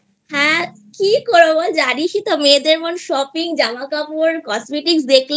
হ্যাঁ কি করবো বল জানিস ই তো মেয়েদের মন Shopping জামা কাপড় Cosmetics দেখলেই